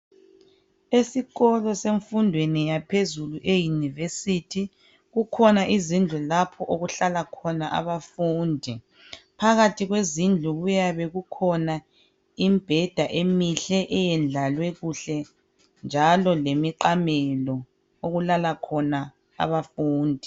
Esikolo sefundweni yaphezulu eyunivesithi kukhona izindlu lapha okuhlala khona abafundi phakathi kwezindlu kuyabe kukhona imibheda emihle eyadlalwe kuhle njalo lemiqamelo okulala khona abafundi.